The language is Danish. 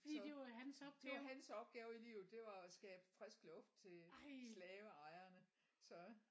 Så det var hans opgave i livet det var at skabe frisk luft til slaveejerne så